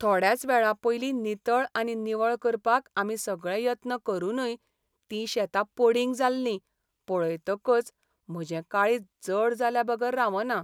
थोड्याच वेळापयलीं नितळ आनी निवळ करपाक आमी सगळे यत्न करूनय तीं शेतां पडींग जाल्लीं पळयतकच म्हजें काळीज जड जाल्याबगर रावना .